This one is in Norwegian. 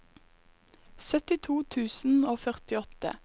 syttito tusen og førtiåtte